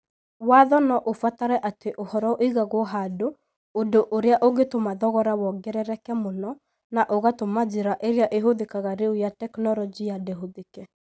Watho no ũbatare atĩ ũhoro ũigagwo handũ, ũndũ ũrĩa ũngĩtũma thogora wongerereke mũno na ũgatũma njĩra ĩrĩa ĩhũthĩkaga rĩu ya teknorojia ndĩhũthĩke.